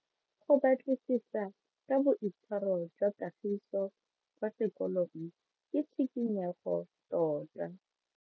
Go batlisisa ka boitshwaro jwa Kagiso kwa sekolong ke tshikinyego tota.